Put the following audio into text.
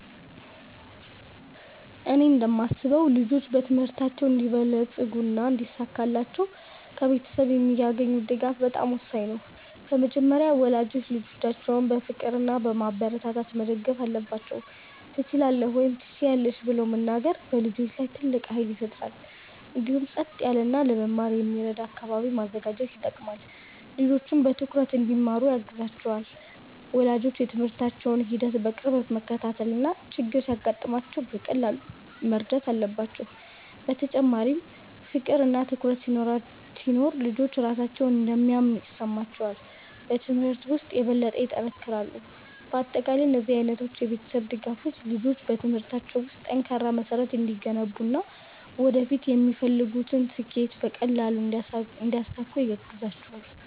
እኔ እንደማስበው ልጆች በትምህርታቸው እንዲበለጽጉና እንዲሳካላቸው ከቤተሰብ የሚያገኙት ድጋፍ በጣም ወሳኝ ነው። በመጀመሪያ ወላጆች ልጆቻቸውን በፍቅር እና በማበረታታት መደገፍ አለባቸው፤ “ትችላለህ” ወይም “ትችያለሽ ” ብለው መናገር በልጆች ላይ ትልቅ ኃይል ይፈጥራል። እንዲሁም ጸጥ ያለ እና ለመማር የሚረዳ አካባቢ ማዘጋጀት ይጠቅማል፣ ልጆችም በትኩረት እንዲማሩ ያግዛቸዋል። ወላጆች የትምህርታቸውን ሂደት በቅርበት መከታተል እና ችግር ሲገጥማቸው በቀላሉ መርዳት አለባቸው። በተጨማሪም ፍቅር እና ትኩረት ሲኖር ልጆች ራሳቸውን እንደሚያምኑ ይሰማቸዋል እና በትምህርት ውስጥ የበለጠ ይጠነክራሉ። በአጠቃላይ እነዚህ ዓይነት የቤተሰብ ድጋፎች ልጆች በትምህርታቸው ውስጥ ጠንካራ መሠረት እንዲገነቡ እና ወደፊት የሚፈልጉትን ስኬት በቀላሉ እንዲያሳኩ ያግዛቸዋል።